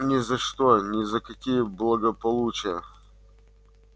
ни за что ни за какие благополучия